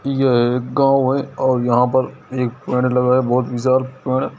यह एक गांव है और यहाँ पर एक पेड़ लगा है बहोत विशाल पेड़ है।